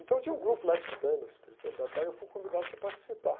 Então tinha um grupo lá estudando espiritualidade, tal, e eu fui convidado para participar.